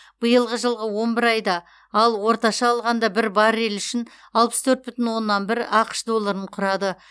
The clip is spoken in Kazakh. биылғы жылғы он бір айда ол орташа алғанда бір баррель үшін алпыс төрт бүтін оннан бір ақш долларын құрады